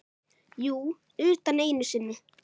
Jú, utan einu sinni.